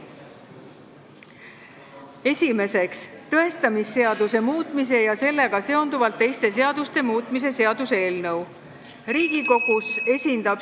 Esiteks, tõestamisseaduse muutmise ja sellega seonduvalt teiste seaduste muutmise seaduse eelnõu.